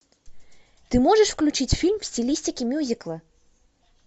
ты можешь включить фильм в стилистике мюзикла